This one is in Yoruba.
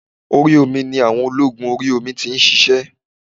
Orí omi ni àwọn ológun orí omi ti nsisé